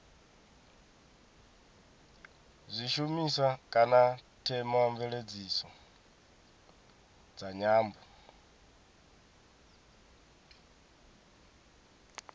zwishumiswa kana theomveledziso dza nyambo